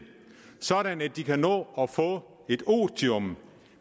sådan at de kan nå at få et otium